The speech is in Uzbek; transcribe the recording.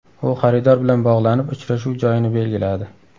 U xaridor bilan bog‘lanib uchrashuv joyini belgiladi.